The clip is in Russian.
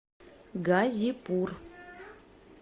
газипур